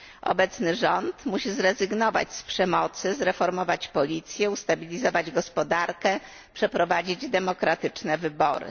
Obecny rząd musi zrezygnować z przemocy, zreformować policję, ustabilizować gospodarkę, przeprowadzić demokratyczne wybory.